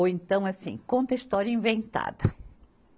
Ou então assim, conta história inventada.